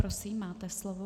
Prosím, máte slovo.